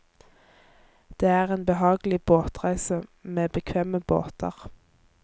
Det er en behagelig båtreise, med bekvemme båter.